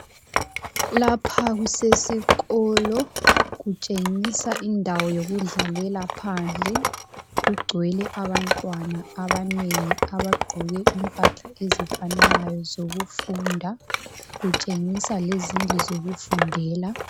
Lapha kusesikolo, kutshengisa indawo yokudlalela phandle. Kugcwele abantwana abanengi abagqoke impahla ezifananayo zokufunda. Kutshengisa lezindlu zokufundela.